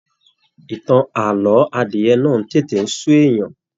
Ìtàn ààlọ́ adiẹ náà tètè n sú èèyàn.